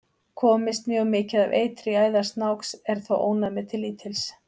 Komist mjög mikið af eitri í æðar snáks er þó ónæmið til lítils.